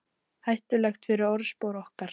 Hættulegt fyrir orðspor okkar